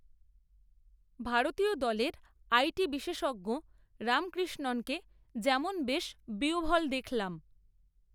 ভারতীয় দলের I T বিশেষজ্ঞ রামকৃষ্ণণকে যেমন বেশ বিহ্বল দেখলাম